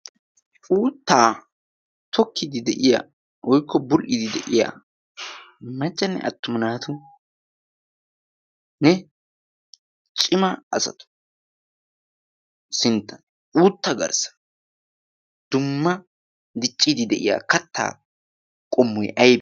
Uuttaa tokkiidi de7iya woykko bul77idi de7iya maccanne attuma naatunne cima asatu sintta uutta garssa dumma dicciidi de7iya kattaa qommoy aybbe?